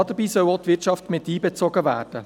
Dabei soll auch die Wirtschaft einbezogen werden.